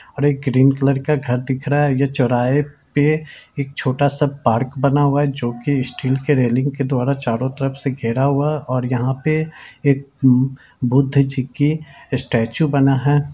और एक green colour का घर दिख रहा है ये चौराहे पे एक छोटा-सा पार्क बना हुआ है जो की स्टिल की रेलिंग के द्वारा चारों तरफ से घेरा हुआ और यहाँ पे एक बुद्ध जी की स्टैचू बना है।